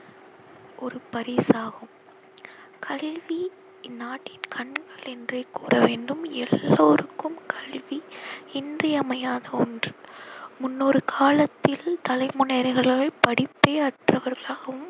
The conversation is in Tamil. ஒரு பரிசாகும். கல்வி இந்நாட்டின் கண்கள் என்றே கூற வேண்டும். எல்லோருக்கும் கல்வி இன்றியமையாத ஒன்று. முன்னொரு காலத்தில் தலைமுறையினர்கள் படிப்பே அற்றவர்களாகவும்